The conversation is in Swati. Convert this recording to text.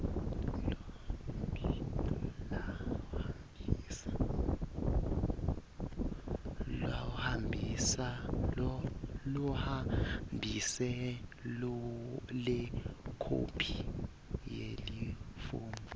lohambise lekhophi yalelifomu